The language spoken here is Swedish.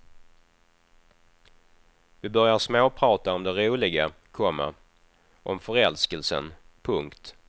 Vi börjar småprata om det roliga, komma om förälskelsen. punkt